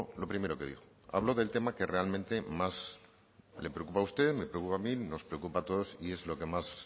lo primero que dijo habló del tema que realmente más le preocupa a usted me preocupa a mí nos preocupa a todos y es lo que más